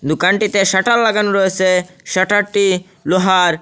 দোকানটিতে শাটার লাগানো রয়েসে শাটারটি লোহার।